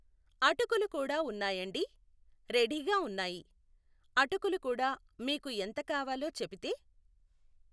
అటుకులు కూడా ఉన్నాయండి, రెఢీగా ఉన్నాయి, అటుకులు కూడా మీకు ఎంత కావాలో చెపితే.